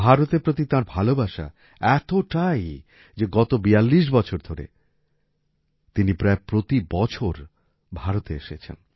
ভারতের প্রতি তাঁর ভালবাসা এতটাই যে গত ৪২ বছর ধরে তিনি প্রায় প্রতি বছর ভারতে এসেছেন